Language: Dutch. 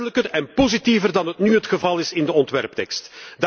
Duidelijker en positiever dan nu het geval is in de ontwerptekst.